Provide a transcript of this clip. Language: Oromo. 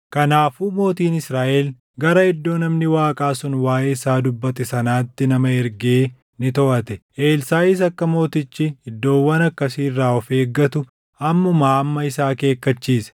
Kanaafuu mootiin Israaʼel gara iddoo namni Waaqaa sun waaʼee isaa dubbate sanaatti nama ergee ni toʼate. Elsaaʼis akka mootichi iddoowwan akkasii irraa of eeggatu ammumaa amma isa akeekkachiise.